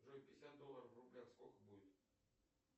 джой пятьдесят долларов в рублях сколько будет